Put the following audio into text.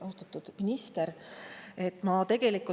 Austatud minister!